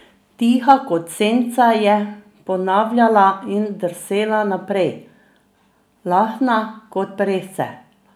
Tiha kot senca, je ponavljala in drsela naprej, lahna kot peresce.